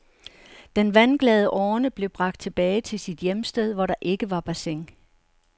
Den vandglade orne blev bragt tilbage til sit hjemsted, hvor der ikke var bassin.